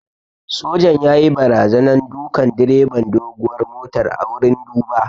Sojan yayi barazanan dukan direban doguwar motar a wurin duba